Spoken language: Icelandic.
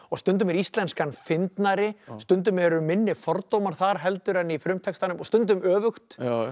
stundum er íslenskan fyndnari stundum eru minni fordómar þar heldur en í frumtextanum og stundum öfugt